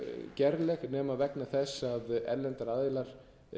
gerleg nema vegna þess að erlendir aðilar